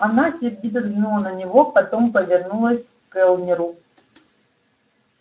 она сердито взглянула на него потом повернулась к кэллнеру